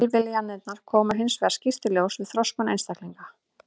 Tilviljanirnar koma hins vegar skýrt í ljós við þroskun einstaklinga.